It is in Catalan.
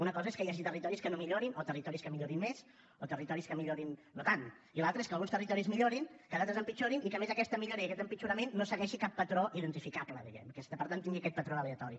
una cosa és que hi hagi territoris que no millorin o territoris que millorin més o territoris que millorin no tant i l’altra és que alguns territoris millorin que d’altres empitjorin i que a més aquesta millora i aquest empitjorament no segueixin cap patró identificable diguem ne i per tant tinguin aquest patró aleatori